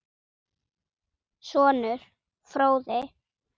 Sonur: Fróði.